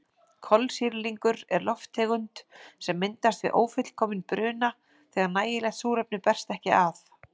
Kolsýrlingur er lofttegund sem myndast við ófullkominn bruna þegar nægilegt súrefni berst ekki að.